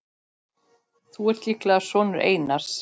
Þú ert líklega sonur Einars.